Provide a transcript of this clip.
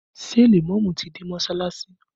Ṣé lèmọ́mù ti dé mọsalasi?